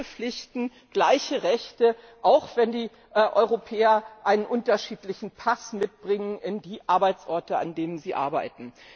Gleiche Pflichten, gleiche Rechte auch wenn die Europäer einen unterschiedlichen Pass mitbringen in die Arbeitsorte, an denen sie arbeiten.